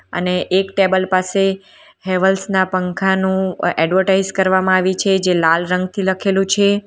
અને એક ટેબલ પાસે હેવલ્સ ના પંખાનુ એડવર્ટાઇઝ કરવામાં આવી છે જે લાલ રંગથી લખેલુ છે.